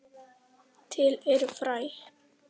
Til eru fræ.